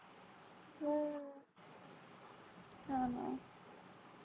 हो ना